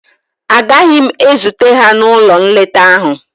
Agaghị m ezute ha n'ụlọ nleta ahụ